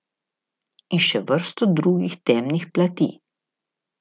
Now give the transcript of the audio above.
In še vrsto drugih temnih plati.